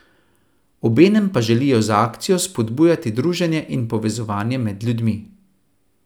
Obenem pa želijo z akcijo vzpodbujati druženje in povezovanje med ljudmi.